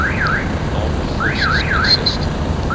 armed forces consist